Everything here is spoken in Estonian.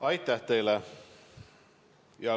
Aitäh teile!